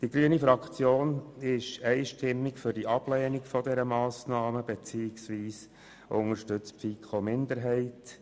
Die grüne Fraktion ist einstimmig für die Ablehnung dieser Massnahme, beziehungsweise sie unterstützt die Minderheit der FiKo.